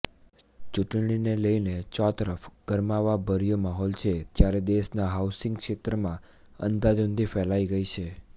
ચૂંટણીને લઈને ચોતરફ ગરમાવાભર્યો માહોલ છે ત્યારે દેશના હાઉસિંગ ક્ષેત્રમાં અંધાધૂંધી ફેલાઈ ગઈ છે